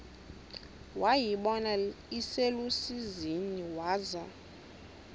wayibona iselusizini waza